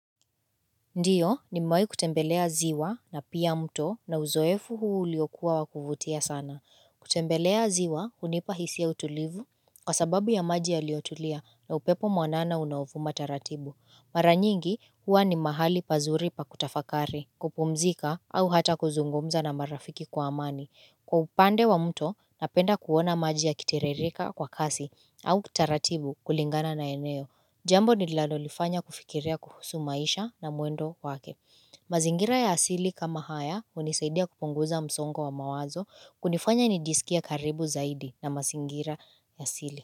Ndiyo nimewahi kutembelea ziwa na pia mto na uzoefu huu uliokuwa wakuvutia sana kutembelea ziwa unipahisi ya utulivu kwa sababu ya maji yaliotulia na upepo mwanana unaovuma taratibu Maranyingi huwa ni mahali pazuri pakutafakari kupumzika au hata kuzungumza na marafiki kwa amani Kwa upande wa mto napenda kuona maji ya kitiririka kwa kasi au taratibu kulingana na eneo Jambo ni lalolifanya kufikiria kuhusu maisha na muendo wake mazingira ya asili kama haya unisaidia kupunguza msongo wa mawazo kunifanya nijisikia karibu zaidi na mazingira ya asili.